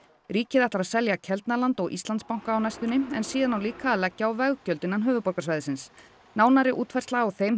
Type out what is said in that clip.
ríkið ætlar að selja Keldnaland og Íslandsbanka á næstunni en síðan á líka að leggja á veggjöld innan höfuðborgarsvæðisins nánari útfærsla á þeim